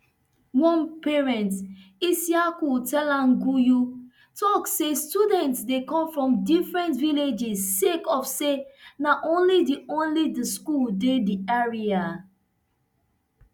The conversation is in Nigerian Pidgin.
one parent isiyaku telan gayu tok say students dey come from different villages sake of say na only di only di school dey di area